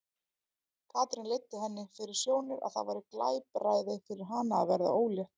Katrín leiddi henni fyrir sjónir að það væri glapræði fyrir hana að verða ólétt.